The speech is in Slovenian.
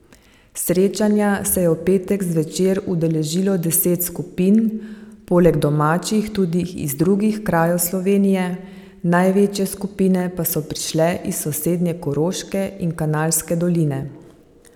Srečanja se je v petek zvečer udeležilo deset skupin, poleg domačih tudi iz drugih krajev Slovenije, največje skupine pa so prišle iz sosednje Koroške in Kanalske doline.